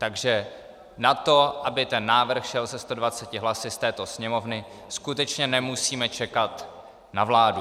Takže na to, aby ten návrh šel se 120 hlasy z této Sněmovny, skutečně nemusíme čekat na vládu.